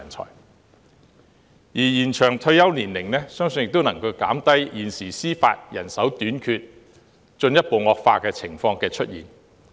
此外，延長退休年齡亦能減低現時司法人手短缺問題進一步惡化的情況。